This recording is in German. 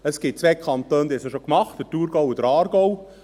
Es gibt zwei Kantone, die es schon gemacht haben: Thurgau und Aargau.